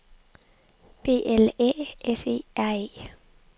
B L Æ S E R E